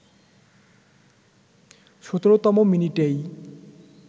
১৭তম মিনিটেই